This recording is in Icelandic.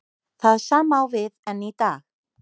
Það sama á við enn í dag.